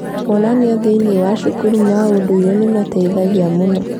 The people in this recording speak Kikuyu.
Monanio thĩinĩ wa cukuru ma ũndũire nĩ mateithagia mũno.